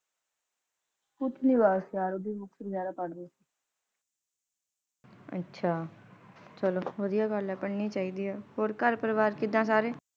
ਕੁੱਛ ਨਹੀਂ ਯਾਰ ਬਸ, ਓਦਾਂ ਹੀ ਬੁਕਸ ਵਗੈਰਾ ਪੜਦੀ ਦੀ ਸੀ। ਅੱਛਾ, ਚਲੋ ਵਦੀਆਂ ਗੱਲ ਹੈ ਪੜ੍ਹਨੀ ਚਾਹੀਦੀ ਹੈ, ਹੋਰ ਘਰ ਪਰਿਵਾਰ ਕਿਦਾਂ ਸਾਰੇ?